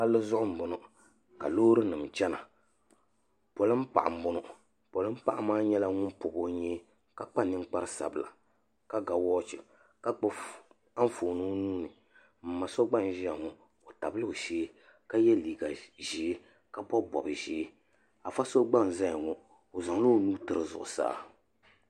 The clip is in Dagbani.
Palli zuɣu m boŋɔ ka loori nima chena polin'paɣa m boŋɔ polin'paɣa maa nyɛla ŋun pobi o nyee ka kpa ninkpari sabla ka ga woochi ka gbibi Anfooni o nuuni m. ma so gba n ʒia ŋɔ o tabila o shee ka ye liiga ʒee ka bobi bob'ʒee afa so gba n zaya ŋɔ o zaŋla o nuu tiri zuɣusaa.